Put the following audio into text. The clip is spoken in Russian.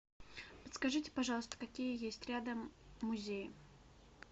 подскажите пожалуйста какие есть рядом музеи